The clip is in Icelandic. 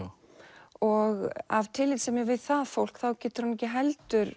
og af tillitssemi við það fólk getur hann ekki heldur